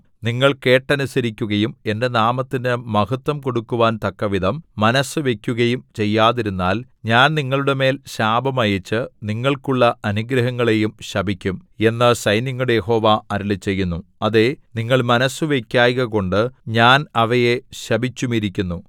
നിങ്ങൾ കേട്ടനുസരിക്കുകയും എന്റെ നാമത്തിന് മഹത്ത്വം കൊടുക്കുവാൻ തക്കവിധം മനസ്സുവയ്ക്കുകയും ചെയ്യാതിരുന്നാൽ ഞാൻ നിങ്ങളുടെമേൽ ശാപം അയച്ച് നിങ്ങൾക്കുള്ള അനുഗ്രഹങ്ങളെയും ശപിക്കും എന്നു സൈന്യങ്ങളുടെ യഹോവ അരുളിച്ചെയ്യുന്നു അതേ നിങ്ങൾ മനസ്സു വെക്കായ്കകൊണ്ടു ഞാൻ അവയെ ശപിച്ചുമിരിക്കുന്നു